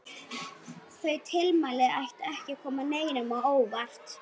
Þau tilmæli ættu ekki að koma neinum á óvart.